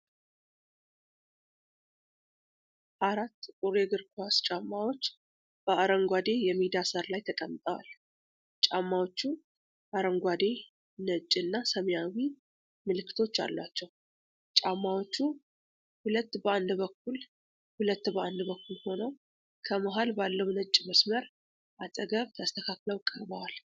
አራት ጥቁር የእግር ኳስ ጫማዎች በአረንጓዴ የሜዳ ሣር ላይ ተቀምጠዋል። ጫማዎቹ አረንጓዴ፣ ነጭ እና ሰማያዊ ምልክቶች አሏቸው። ጫማዎቹ ሁለት በአንድ በኩል ሁለት በአንድ በኩል ሆነው ከመሃል ባለው ነጭ መስመር አጠገብ ተስተካክለው ቀርበዋል።